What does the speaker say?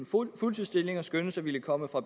fuldtidsstillinger skønnedes at ville komme fra